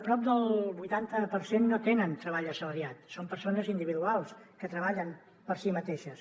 prop del vuitanta per cent no tenen treball assalariat són persones individuals que treballen per si mateixes